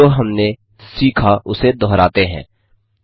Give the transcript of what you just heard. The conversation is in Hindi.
जो हमने सीखा उसे दोहराते हैं 1